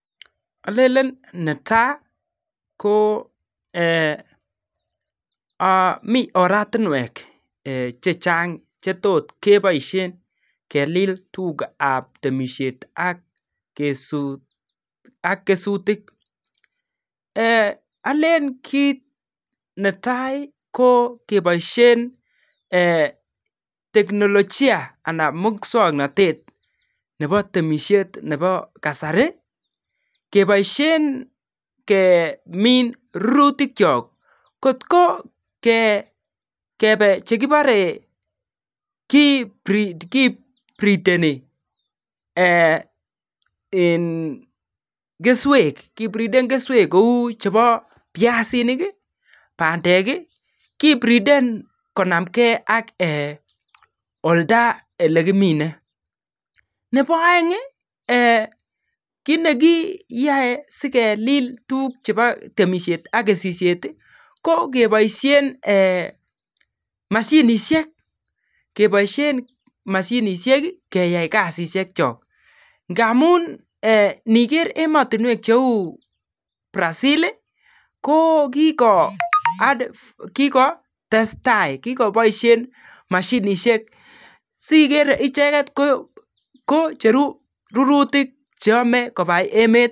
Olelen neta ko eeh ooh mi oratinwek chechang chetot keboisien kelil tugakab temisiet AK sut ak kesutik eeh olen kit neta ko keboisien eeh [ teknolojia] anan muswoknot nebo temisiet nebo kasari keboisien kemin rurutikyok kot ko kebe chekibore kibreedeni eeh eng keswek kibreedeni keswek kou cheo biasinik iih bandek iih kibreeden konamgen ak eeh olda ole kimine nebo oeng iih eeh kit neyoe si kelil tuguk chebo temisiet ak kesisiet iih ko keboisien eeh mashinisiek keboisien mashinisiek keyai kasisiekyok ngamun eeh niger emotinwek cheu Brazil iih ko kiko ad kikotestai kikoboisien mashinisiek sikere icheket kocheru rurutik che yome kobai emet.